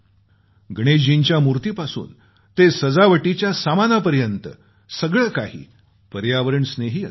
गणेशजींच्या मूर्तीपासून ते सजावटीच्या सामानापर्यंत सगळं काही पर्यावरण स्नेही असावे